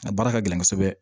A baara ka gɛlɛn kosɛbɛ